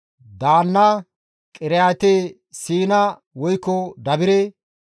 Daanna, Qiriyaate-Siina woykko Dabire,